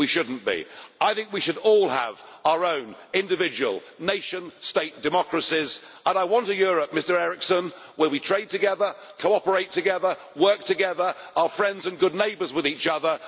We should not be. I think we should all have our own individual nation state democracies, and I want a Europe, Mr Eriksson, where we trade together, cooperate together, work together, are friends and good neighbours with each other.